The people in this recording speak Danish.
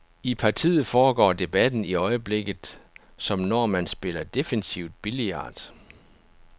I partiet foregår debatten i øjeblikket, som når man spiller defensivt billard.